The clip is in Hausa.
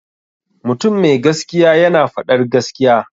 Mutum mai gaskiya yana faɗar gaskiya.